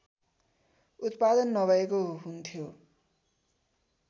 उत्पादन नभएको हुन्थ्यो